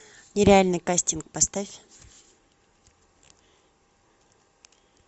нереальный кастинг поставь